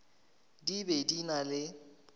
di be di na le